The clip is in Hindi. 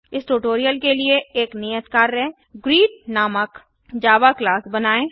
इस ट्यूटोरियल के लिए एक नियत कार्य ग्रीट नामक जावा क्लास बनाएं